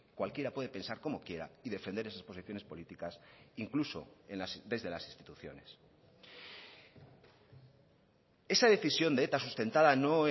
cualquiera puede pensar como quiera y defender esas posiciones políticas incluso desde las instituciones esa decisión de eta sustentada no